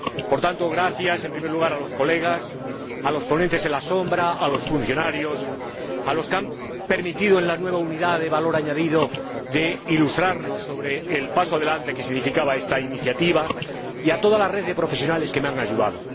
Por tanto, gracias en primer lugar a los colegas, a los ponentes en la sombra, a los funcionarios, a los que han permitido en la nueva Unidad de Valor Añadido Europeo ilustrarnos sobre el paso adelante que significaba esta iniciativa, y a toda la red de profesionales que me han ayudado.